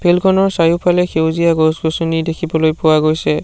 Field খনৰ চাৰিওফালে সেউজীয়া গছ-গছনি দেখিবলৈ পোৱা গৈছে।